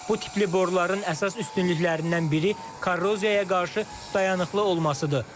Bu tipli boruların əsas üstünlüklərindən biri korroziyaya qarşı dayanıqlı olmasıdır.